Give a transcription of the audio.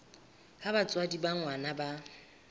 ha batswadi ba ngwana ba